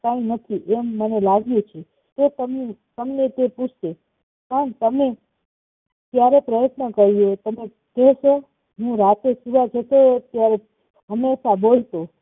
કઈ નથી મને લાગ્યું છે તો તમને ગમે તે પુચ્છશે પણ તમે ત્યારે પ્રયતન કર્યો હું રાતે સુવા જતો હંમેશા બોલતો